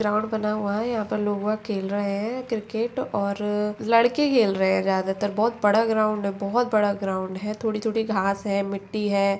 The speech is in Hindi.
ग्राउंड बना हुआ है यहाँ पर लोंगा खेल रहें हैं क्रिकेट और लड़के खेल रहें हैं ज्यादातर बहुत बड़ा ग्राउंड है बहुत बड़ा ग्राउंड है थोड़ी-थोड़ी घास है मिट्टी है।